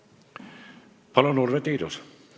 Palun, Urve Tiidus!